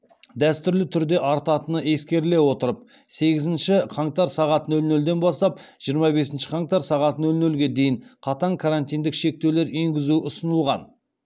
дәстүрлі түрде артатыны ескеріле отырып сегізінші қаңтар сағат нөл нөлден бастап жиырма бесінші қаңтар сағат нөл нөлге дейін қатаң карантиндік шектеулер енгізу ұсынылған